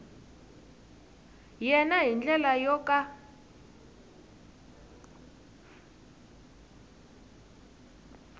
yena hi ndlela yo ka